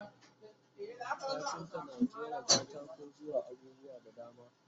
kafinta na ƙera katako zuwa abubuwa da dama